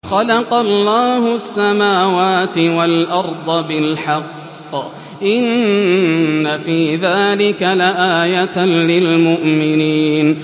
خَلَقَ اللَّهُ السَّمَاوَاتِ وَالْأَرْضَ بِالْحَقِّ ۚ إِنَّ فِي ذَٰلِكَ لَآيَةً لِّلْمُؤْمِنِينَ